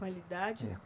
Qualidade?